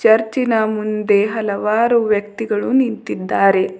ಚರ್ಚಿನ ಮುಂದೆ ಹಲವಾರು ವ್ಯಕ್ತಿಗಳು ನಿಂತಿದ್ದಾರೆ.